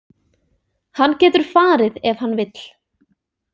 Hann getur farið ef hann vill.